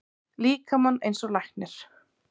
líkamann eins og læknir.